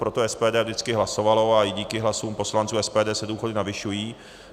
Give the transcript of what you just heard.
Pro to SPD vždycky hlasovalo a díky hlasům poslanců SPD se důchody navyšují.